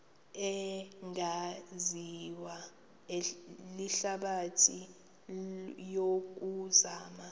ebingaziwa lihlabathi yokuzama